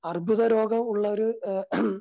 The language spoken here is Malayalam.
അർബുദരോഗമുള്ളവര്